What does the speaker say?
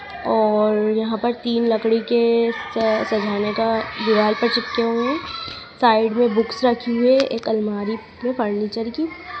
और यहां पर तीन लकड़ी के अह सजाने का दीवार पर चिपके हुए हैं साइड में बुक्स रखी हुई है एक अलमारी है फर्नीचर की।